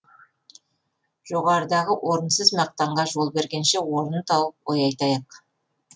жоғарыдағы орынсыз мақтанға жол бергенше орнын тауып ой айтайық